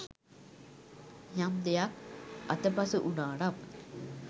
යම් දෙයක් අතපසු වුණා නම්